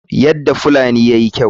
Yadda fullani yayi kyau.